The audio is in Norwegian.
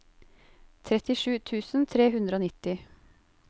trettisju tusen tre hundre og nitti